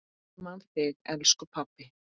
Ég man þig, elsku pabbi.